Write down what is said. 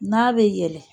N'a bɛ yɛlɛn